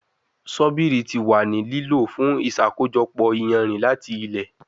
Sobiri ti wa ni lilo fun iṣakojọpọ iyanrin lati ilẹ